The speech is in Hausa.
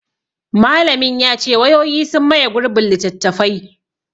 Malamin ya ce; wayoyi sun maye gurbin littattafai.